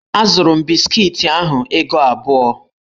Azụrụ m biskiti ahụ ego abụọ.